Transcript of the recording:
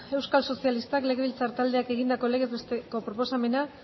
euskal sozialistak legebiltzar taldeak egindako legez beteko proposamena